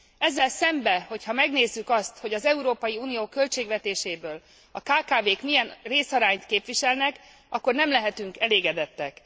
Ezzel szembe, hogyha megnézzük azt, hogy az Európai Unió költségvetéséből a kkv k milyen részarányt képviselnek, akkor nem lehetünk elégedettek.